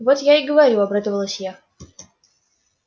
вот я и говорю обрадовалась я